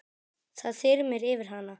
Það þyrmir yfir hana.